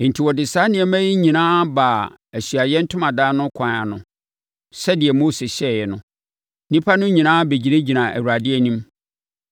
Enti wɔde saa nneɛma yi nyinaa baa Ahyiaeɛ Ntomadan no kwan ano sɛdeɛ Mose hyɛeɛ no. Nnipa no nyinaa bɛgyinagyinaa Awurade anim.